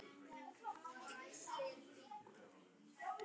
Skoðið hana vel, lesið á milli lína og ráðið í orðalag lögreglunnar.